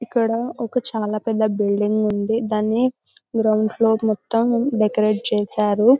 ఇక్కడ ఒక చాలా పెద్ద బిల్డిన్ ఉంది దాన్ని గ్రౌండ్ ఫ్లోర్ మొత్తం డెకరేట్ చేశారు.